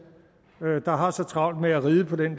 der har så travlt med at ride på den